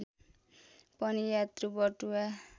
पनि यात्रु बटुवा